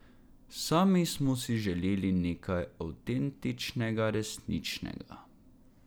Sami smo si želeli nekaj avtentičnega, resničnega.